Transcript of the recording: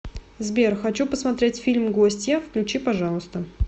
сбер хочу посмотреть фильм гостья включи пожалуйста